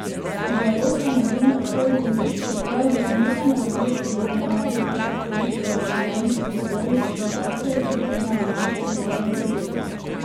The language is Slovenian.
Dialog je na zunaj ostal vljuden, čeprav je bilo nekaj napetosti glede ameriških obtožb o računalniških vdorih s Kitajske v sisteme ameriške vlade in podjetij.